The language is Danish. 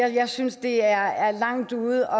jeg synes det er langt ude